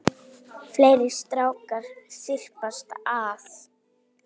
Fleiri strákar þyrpast að.